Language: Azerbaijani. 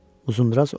Uzundraz oxudu.